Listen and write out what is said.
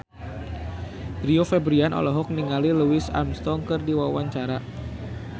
Rio Febrian olohok ningali Louis Armstrong keur diwawancara